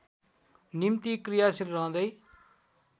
निम्ति क्रियाशील रहँदै